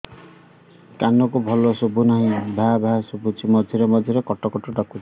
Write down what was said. କାନକୁ ଭଲ ଶୁଭୁ ନାହିଁ ଭାଆ ଭାଆ ଶୁଭୁଚି ମଝିରେ ମଝିରେ କଟ କଟ ଡାକୁଚି